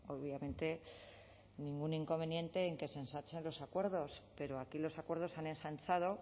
obviamente ningún inconveniente en que se ensanchen los acuerdos pero aquí los acuerdos se han ensanchado